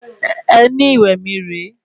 Ẹní ìwẹ̀ mí re e